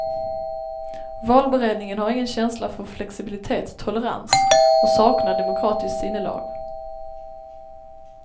Valberedningen har ingen känsla för flexibilitet, tolerans och saknar demokratiskt sinnelag.